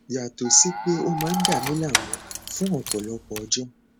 yàtọ sí pé ó máa ń dàmi láàmú fún ọpọlọpọ ọjọ